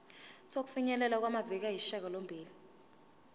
sokufinyelela kumaviki ayisishagalombili